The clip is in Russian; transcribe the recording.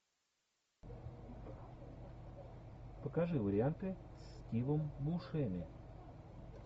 покажи варианты с стивом бушеми